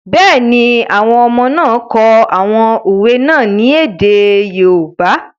Bẹ́ẹ̀ni, àwọn ọmọ náà kọ àwọn òwe náà ní èdè yoòbá